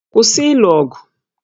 Kwụsị ịlụ ọgụ!